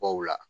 Baw la